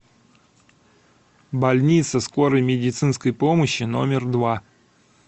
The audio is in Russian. больница скорой медицинской помощи номер два